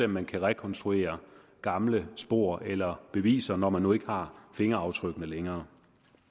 man kan rekonstruere gamle spor eller beviser når man nu ikke har fingeraftrykkene længere